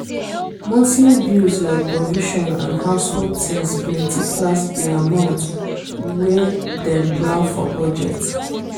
monthly bills like provision and household things plenty pass di amount wey dem plan for budget.